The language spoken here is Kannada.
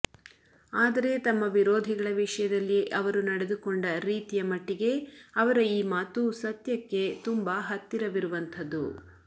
ಆದರೆ ತಮ್ಮ ವಿರೋಧಿಗಳ ವಿಷಯದಲ್ಲಿ ಅವರು ನಡೆದುಕೊಂಡ ರೀತಿಯ ಮಟ್ಟಿಗೆ ಅವರ ಈ ಮಾತು ಸತ್ಯಕ್ಕೆ ತುಂಬ ಹತ್ತಿರವಿರುವಂಥದ್ದು